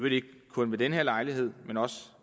ikke kun ved den her lejlighed men også